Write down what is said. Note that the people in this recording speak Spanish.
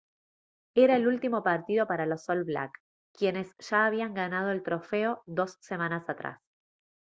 era el último partido para los all black quienes ya habían ganado el trofeo dos semanas atrás